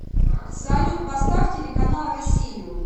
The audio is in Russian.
салют поставь телеканал россию